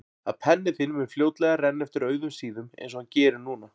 Að penni þinn mun fljótlega renna eftir auðum síðum einsog hann gerir núna.